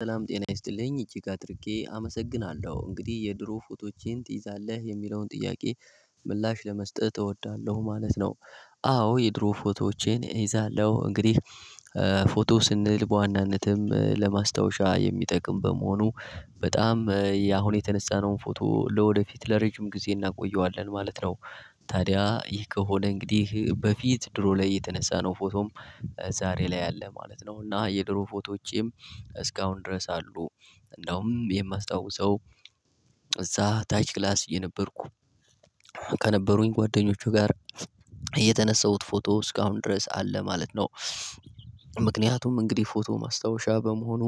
ሰላም ጤና ይስጥልኝ እጅግ አድርጌ አመሰግናለሁ። እንግዲህ የድሮ ፎቶዎችን ትይዛለህ? የሚለውን ጥያቄ ምላሽ ለመስጠት እወዳለሁ ማለት ነው። አዎ የድሮ ፎቶዎቼን እይዛለሁ እንግዲህ ፎቶ ስንል በዋናነትም ለማስታወሻ የሚጠቅም በመሆኑ በጣም ያሁን የተነሳነውን ፎቶ ለወደፊት ለረጅም ጊዜ እናቆየዋለን ማለት ነው። ታዲያ ይህ ከሆነ እንግዲህ በፊት ድሮ ላይ የተነሳነው ፎቶም ዛሬ ላይ አለ ማለት ነው እና የድሮ ፎቶዎቼም እስካሁን ድረስ አሉ። እንደውም የማስታውሰው እዛ ታች ክላስ እየነበርኩ ከነበሩኝ ጓደኞቹ ጋር የተነሳሁት ፎቶ እስካሁን ድረስ አለ ማለት ነው። ምክንያቱም እንግዲህ ፎቶ ማስታወሻ በመሆኑ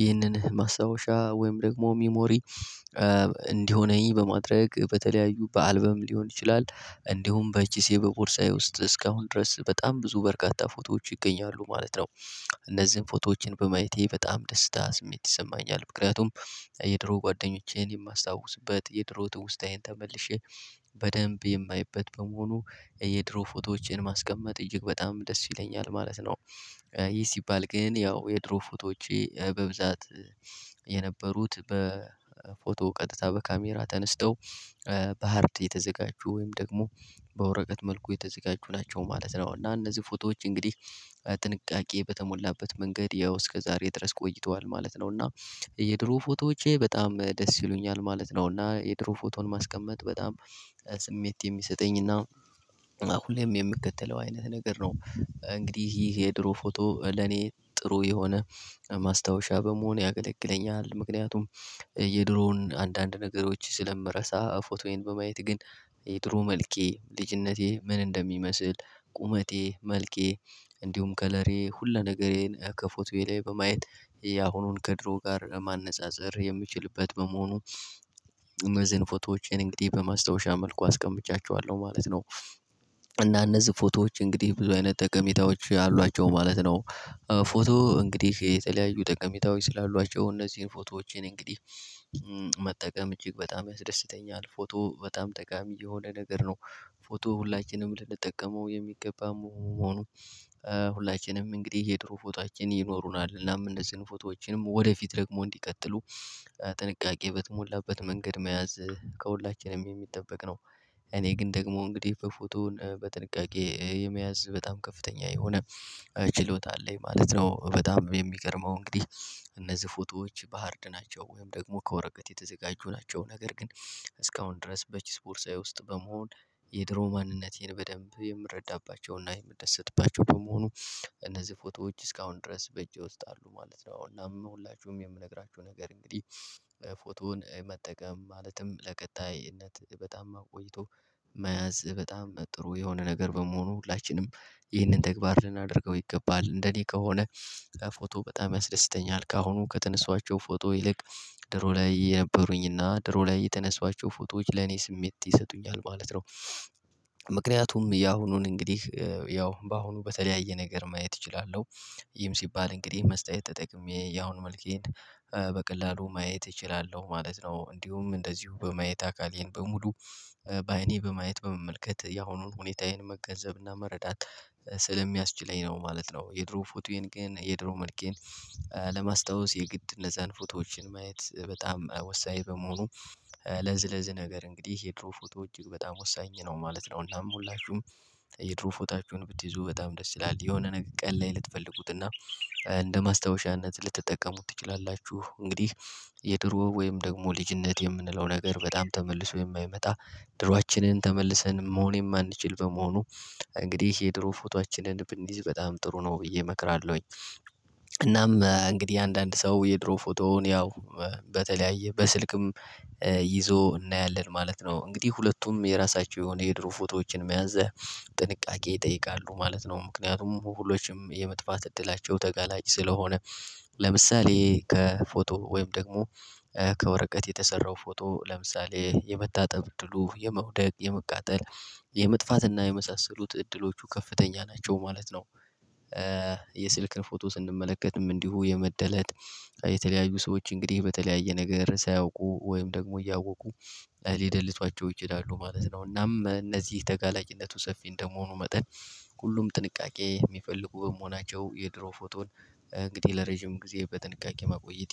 ይህንን ማስታወሻ ወይም ደግሞ ሚሞሪ እንዲሆነኝ በማድረግ በተለያዩ በአልበም ሊሆን ይችላል እንዲሁም በኪሴ በቦርሳዬ ውስጥ እስካሁን ድረስ በጣም ብዙ በረካታ ፎቶዎች ይገኛሉ ማለት ነው። እነዚህን ፎቶዎች በማየቴ በጣም ደስታ ስሜት ይሰማኛል ምክንያቱም የድሮ ጓደኞቼን የማስታውስበት፣ የድሮ ትውስታዬን ተመልሼ በደንብ የማይበት በመሆኑ የድሮ ፎቶዎችን ማስቀመጥ እጅግ በጣም ደስ ይለኛል ማለት ነው። ይህ ሲባል ግን ያው የድሮ ፎቶዎቼ በብዛት የነበሩት በፎቶ ቀጥታ በካሜራ ተነስተው በሃርድ እየተዘጋጁ ወይም ደግሞ በወረቀት መልኩ የተዘጋጁ ናቸው ማለት ነው እና እነዚህ ፎቶዎች እንግዲህ ጥንቃቄ በተሞላበት መንገድ ያው እስከ ዛሬ ድረስ ቆይቷል ማለት ነው እና የድሮ ፎቶዎቼ በጣም ደስ ይሉኛል ማለት ነው እና የድሮ ፎቶን ማስቀመጥ በጣም ስሜት የሚሰጠኝና ሁሌም የምከተለው አይነት ነገር ነው። እንግዲህ ይሄ የድሮ ፎቶ ለኔ ጥሩ የሆነ ማስታወሻ በመሆን ያገለግለኛል ምክንያቱም የድሮውን አንዳንድ ነገሮች ስለምረሳ ፎቶዬን በማየት ግን የድሮ መልኬ ልጅነቴ ምን እንደሚመስል ቁመቴ፣ መልኬ እንዲሁም ከለሬ ሁሉ ነገሬን ከፎቶዬ ላይ በማየት ያሁኑን ከድሮ ጋር ማነፃፀር የምችልበት በመሆኑ እነዚህን ፎቶዎቼን እንግዲህ በማስታወሻ መልኩ አስቀምጫቸዋለሁ ማለት ነው። እና እነዚህ ፎቶዎች እንግዲህ ብዙ አይነት ጠቀሜታዎች አሏቸው ማለት ነው። ፎቶ እንግዲህ የተለያዩ ጠቀሜታዎች ስላሏአቸው እነዚህን ፎቶዎቼን እንግዲህ መጠቀም እጅግ በጣም ያስደስተኛል። ፎቶ በጣም ጠቃሚ የሆነ ነገር ነው። ፎቶ ሁላችንም ልንጠቀመው የሚገባ መሆኑ ሁላችንም እንግዲህ የድሮ ፎቶአችን ይኖሩናል እናም እነዚህን ፎቶዎችን ወደፊት ደግሞ እንዲቀጥሉ ጥንቃቄ በተሞላበት መንገድ መያዝ ከሁላችንም የሚጠበቅ ነው። እኔ ግን ደግሞ እንግዲህ በፎቶ በጥንቃቄ የመያዝ በጣም ከፍተኛ የሆነ ችሎታ አለኝ ማለት ነው። በጣም የሚገርመው እንግዲህ እነዚህ ፎቶዎች በሃርድ ናቸው ወይም ደግሞ ከወረቀት የተዘጋጁ ናቸው ነገር ግን እስካሁን ድረስ በኪስ ቦርሳዬ ውስጥ በመሆን የድሮ ማንነቴን በደንብ የምረዳባቸውና የምደሰትባቸው በመሆኑ እነዚህ ፎቶዎች እስካሁን ድረስ በእጄ ውስጥ አሉ ማለት ነው፣ እናም ሁላችሁም የምነግራችሁ ነገር እንግዲህ ፎቶን መጠቀም ማለትም ለቀጣይነት በጣም አቆይቶ መያዝ በጣም ጥሩ የሆነ ነገር በመሆኑ ሁላችንም ይህንን ተግባር ልናደርገው ይገባል። እንደኔ ከሆነ ፎቶ በጣም ያስደስተኛል ከአሁኑ ከተነሷቸው ፎቶ ይልቅ ድሮ ላይ የነበሩኝና ድሮ ላይ የተነሷቸው ፎቶዎች ለኔ ስሜት ይሰጡኛል ማለት ነው። ምክንያቱም ያሁኑን እንግዲህ ያው በአሁኑ በተለያየ ነገር ማየት እችላለሁ ይም ሲባል እንግዲህ መስተዋት ተጠቅሜ ያሁን መልኬን በቀላሉ ማየት እችላለሁ ማለት ነው፤ እንዲሁም እንደዚሁ በማየት አካሌን በሙሉ በአይኔ በማየት በመመልከት ያሁኑን ሁኔታዬን መገንዘብና መረዳት ስለሚያስችለኝ ነው ማለት ነው የድሮ ፎቶዬን ግን የድሮ መልኬን ለማስታወስ የግድ እነዛን ፎቶዎች ማየት በጣም ወሳኝ በመሆኑ ለዚ ለዚ ነገር እንግዲህ የድሮ ፎቶ እጅግ በጣም ወሳኝ ነው ማለት ነው። እናም ሁላችሁም የድሮ ፎታችሁን ብትይዙ በጣም ደስ ይላል የሆነ ነገር ቀን ላይ ልትፈልጉትና እንደ ማስታወሻነት ልትጠቀሙት ትችላላችሁ እንግዲህ የድሮ ወይም ደግሞ ልጅነት የምንለው ነገር በጣም ተመልሶ የማይመጣ ድሮአችንን ተመልሰን መሆን የማንችል በመሆኑ እንግዲህ የድሮ ፎቶአችንን ብንይዝ በጣም ጥሩ ነው ብዬ እመክራለሁኝ። እናም እንግዲህ አንዳንድ ሰው የድሮ ፎቶውን ያው በተለያየ በስልክም ይዞ እናያለን ማለት ነው። እንግዲህ ሁለቱም የራሳቸው የሆነ የድሮ ፎቶዎችን መያዝ ጥንቃቄ ይጠይቃሉ ማለት ነው ምክንያቱም ሁሎችም የመጥፋት እድላቸው ተጋላጭ ስለሆነ ለምሳሌ ከፎቶ ወይም ደግሞ ከወረቀት የተሰራው ፎቶ ለምሳሌ የመታጠብ እድሉ የመውደቅ የመቃጠል የመሳሰሉት እድሎቹ ከፍተኛ ናቸው ማለት ነው። የስልክን ፎቶ ስንመለከትም እንዲሁ የመደለት የተለያዩ ሰዎች እንግዲህ በተለያየ ነገር ሳያውቁ ወይም ደግሞ እያወቁ ሊደልቷቸው ይችላሉ ማለት ነው እናም እነዚህ ተጋላጭነቱ ሰፊ እንደመሆኑ መጠን ሁሉም ጥንቃቄ የሚፈልጉ በመሆናቸው የድሮ ፎቶን እንግዲህ ለረጅም ጊዜ በጥንቃቄ መቆየት